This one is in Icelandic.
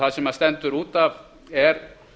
það sem stendur út af er